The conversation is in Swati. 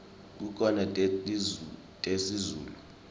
kukhona tesizulu